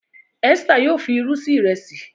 Esther yíò fí ìrù sí Ìrẹsí.